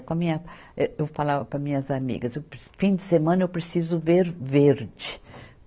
Com a minha, eu falava para as minhas amigas, fim de semana eu preciso ver verde.